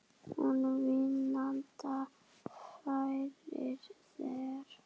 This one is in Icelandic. Hún vínanda færir þér.